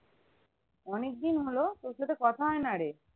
অনেক দিন হোল তোর সাথে কথা হয় না রে